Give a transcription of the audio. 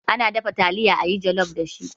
Ana dafa taliya a yi jalof dashi.